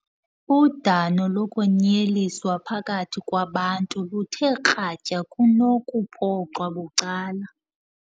Udano lokwenyeliswa phakathi kwabantu luthe kratya kunokuphoxwa bucala.